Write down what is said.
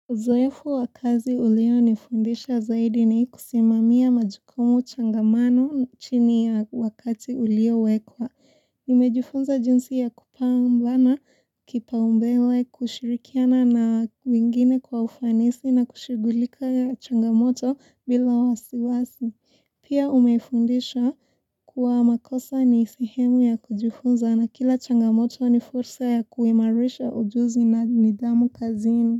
Uzoefu wa kazi ulionifundisha zaidi ni kusimamia majukumu changamano chini ya wakati uliowekwa. Nimejifunza jinsi ya kupambana, kipaumbele, kushirikiana na wengine kwa ufanisi na kushughulika changamoto bila wasiwasi. Pia umefundisha kuwa makosa ni sehemu ya kujifunza na kila changamoto ni fursa ya kuimarisha ujuzi na nidhamu kazini.